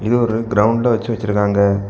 இது ஒரு கிரவுண்டா வச்சு வச்சிருக்காங்க.